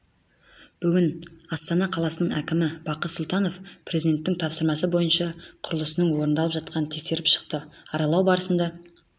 бүгін астана қаласының әкімі бақыт сұлтанов президенттің тапсырмасы бойынша құрылысының орындалып жатқанын тексеріп шықты аралау барысында